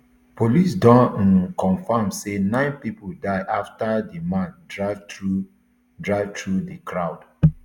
police don um confam say nine pipo die afta di man drive through drive through di crowd